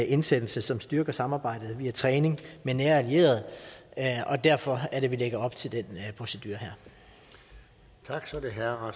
indsættelser som styrker samarbejdet via træning med nære allierede og derfor er det at vi lægger op til den procedure her